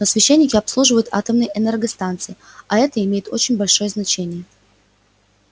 но священники обслуживают атомные энергостанции а это имеет очень большое значение